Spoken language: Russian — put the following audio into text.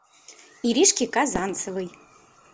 иришки казанцевой